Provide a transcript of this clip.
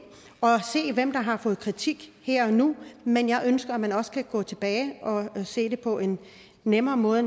og se hvem der har fået kritik her og nu men jeg ønsker at man også kan gå tilbage og se det på en nemmere måde